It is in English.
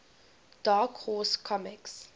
dark horse comics